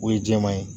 O ye jɛman ye